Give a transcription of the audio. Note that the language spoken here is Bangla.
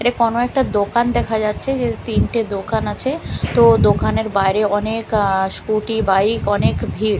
এটা কোনো একটা দোকান দেখা যাচ্ছে যে তিনটে দোকান আছে তো দোকানের বাইরে অনেক আ স্কুটি বাইক অনেক ভিড় --